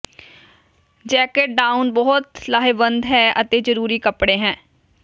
jacket down ਬਹੁਤ ਲਾਹੇਵੰਦ ਹੈ ਅਤੇ ਜ਼ਰੂਰੀ ਕਪੜੇ ਹੈ